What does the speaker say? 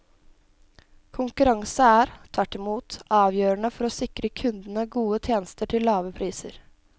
Konkurranse er, tvert imot, avgjørende for å sikre kundene gode tjenester til lave priser.